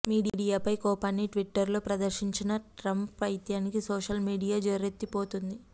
మీడియాపై కోపాన్ని ట్విటర్లో ప్రదర్శించిన ట్రంప్ పైత్యానికి సోషల్ మీడియా ఠారెత్తిపోతోంది